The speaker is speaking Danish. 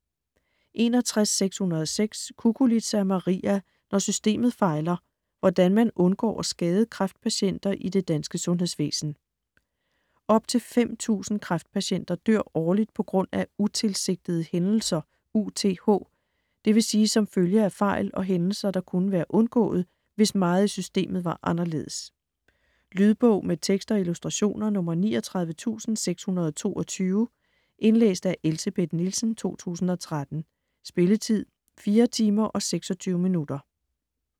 61.606 Cuculiza, Maria: Når systemet fejler: hvordan man undgår at skade kræftpatienter i det danske sundhedsvæsen Op til 5.000 kræftpatienter dør årligt på grund af "utilsigtede hændelser", UTH, dvs. som følge af fejl og hændelser, der kunne have været undgået, hvis meget i systemet var anderledes. Lydbog med tekst og illustrationer 39622 Indlæst af Elsebeth Nielsen, 2013. Spilletid: 4 timer, 26 minutter.